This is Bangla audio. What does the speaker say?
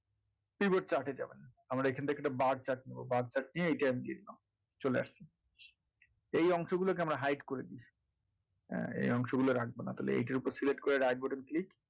এইবার chart এ যাবেন আমরা এইখান থেকে একটা bar chart নেবো bar chart নিয়ে আমি এটা নিয়ে নিলাম চলে আসছে এই অংশ গুলোকে আমরা hide করে দিলাম ঠিক আছে হ্যাঁ এই অংশ গুলো রাখবো না তো এইটার ওপর select করে right button click